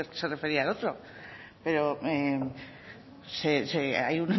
sino que se refería al otro pero hay